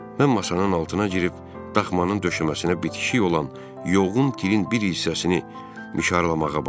Mən masanın altına girib daxmanın döşəməsinə bitişik olan yoğun tirin bir hissəsini mişarlamağa başladım.